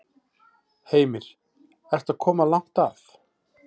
Heimir: Ertu að koma langt að?